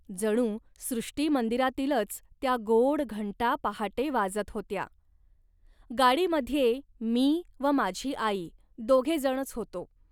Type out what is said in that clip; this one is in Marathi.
जणू सृष्टिमंदिरातीलच त्या गोड घंटा पहाटे वाजत होत्या. गाडीमध्ये मी व माझी आई दोघे जणच होतो